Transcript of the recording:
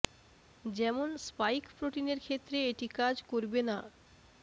যেমন স্পাইক প্রোটিনের ক্ষেত্রে এটি কাজ করবে না